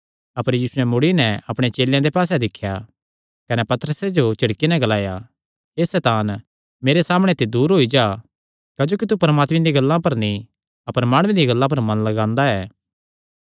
अपर यीशुयैं मुड़ी नैं अपणे चेलेयां दे पास्से दिख्या कने पतरसे जो झिड़की नैं ग्लाया हे सैतान मेरे सामणै ते दूर होई जा क्जोकि तू परमात्मे दियां गल्लां पर नीं अपर माणुआं दियां गल्लां पर मन लगांदा ऐ